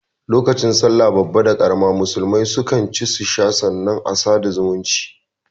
Lokacin sallah babba da karama musulmai su kan ci su sha sannan a sada da zumunta